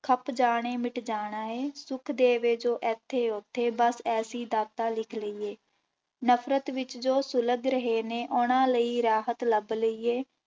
ਖੱਪ ਜਾਣੇ ਮਿਟ ਜਾਣਾ ਹੈ, ਸੁਖ ਦੇਵੇ ਜੋ ਇੱਥੇ ਉੱਥੇ ਬਸ ਐਸੀ ਦਾਤਾ ਲਿਖ ਲਈਏ, ਨਫ਼ਰਤ ਵਿੱਚ ਜੋ ਸੁਲਗ ਰਹੇ ਨੇ ਉਹਨਾਂ ਲਈ ਰਾਹਤ ਲੱਭ ਲਈਏ,